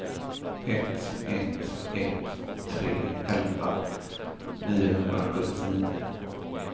ett ett ett tre elva niohundrasjuttionio